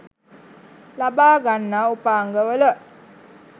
ලබා ගන්නා උපාංග වල